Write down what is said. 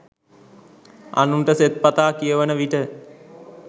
අනුන්ට සෙත්පතා කියවන විට